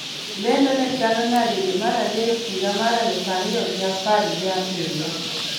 Lendo ne chalo nade dwe mar adek higa mar aluf ariyo gi apar ga biriyo